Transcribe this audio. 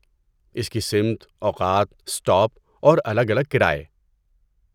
اس کی سمت، اوقات، اسٹاپ، اور الگ الگ کرایے۔